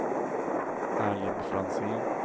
Erling Franzén